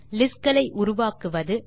list களை உருவாக்குவது